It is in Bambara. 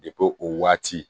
o waati